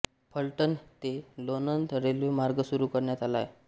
फलटण ते लोणंद रेल्वे मार्ग सुरू करण्यात आला आहे